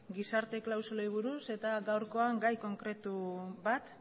gizarte klausulei buruz eta gaurkoan gai konkretu bat